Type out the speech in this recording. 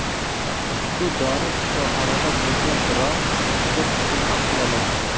Ushbu dori shifoxonada bo‘lgan, biroq juda kichkina ampulalarda.